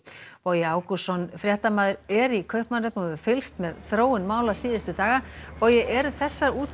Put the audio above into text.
Bogi Ágústsson fréttamaður er í Kaupmannahöfn og hefur fylgst með þróun mála síðustu daga bogi eru þessar